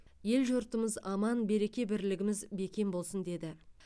ел жұртымыз аман береке бірлігіміз бекем болсын деді